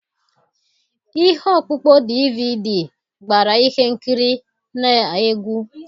Ihe ọkpụkpọ DVD gbara ihe nkiri na egwu.